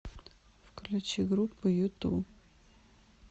включи группу юту